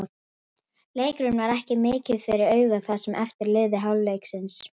Leikurinn var ekki mikið fyrir augað það sem eftir lifði hálfleiks.